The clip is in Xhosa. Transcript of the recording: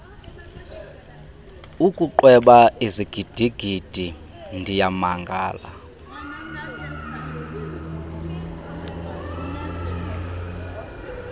ukuqweba izigidigidi ndiyamangala